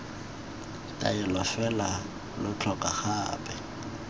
taolelo fela lo tlhoka gape